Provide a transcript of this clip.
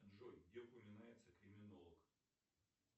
джой где упоминается криминолог